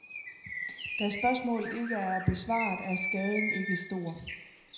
Da spørgsmålet ikke er besvaret, er skaden ikke stor.